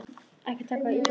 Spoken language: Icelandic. Ekki taka það illa upp.